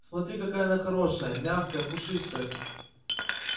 смотри какая она хорошая мягкая пушистая